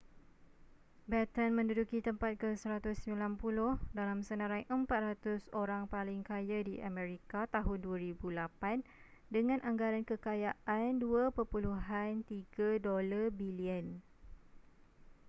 batten menduduki tempat ke-190 dalam senarai 400 orang paling kaya di amerika tahun 2008 dengan anggaran kekayaan $2.3 bilion